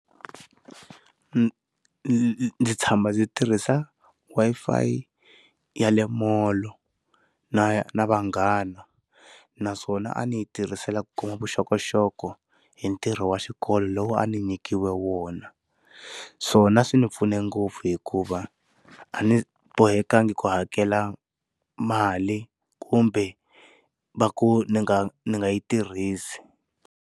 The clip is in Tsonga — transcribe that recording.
Ndzi ndzi tshama ndzi tirhisa Wi-Fi ya le mall na na vanghana naswona a ndzi yi tirhisela ku ku kuma vuxokoxoko hi ntirho wa xikolo lowu a ni nyikiwe wona naswona swi ndzi pfune ngopfu hikuva a ni bohekanga ku hakela mali kumbe va ku ndzi nga ndzi nga yi tirhisi.